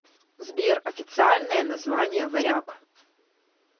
сбер официальное название варяг